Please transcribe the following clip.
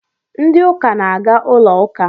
Ndị uka na-aga ụlọ ụka